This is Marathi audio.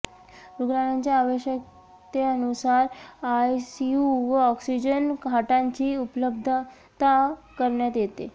रुग्णांच्या आवश्यकतेनुसार आयसीयू व ऑक्सिजन खाटांची उपलब्धता करण्यात येते